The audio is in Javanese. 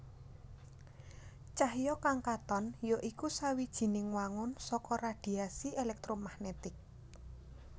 Cahya kang katon ya iku sawijining wangun saka radhiasi èlèktromagnetik